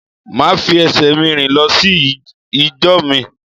Màá fi esè mi rìn lọ sí ìjọ mi